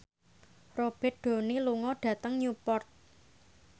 Robert Downey lunga dhateng Newport